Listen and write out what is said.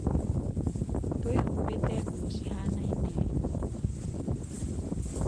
twĩhubĩte nguo cihanaine